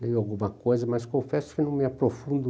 leio alguma coisa, mas confesso que não me aprofundo.